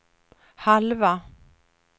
halva